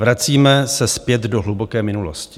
Vracíme se zpět do hluboké minulosti.